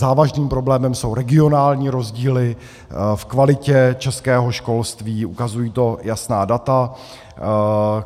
Závažným problémem jsou regionální rozdíly v kvalitě českého školství, ukazují to jasná data.